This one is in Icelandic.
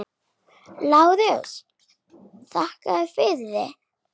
LÁRUS: Þakka yður fyrir.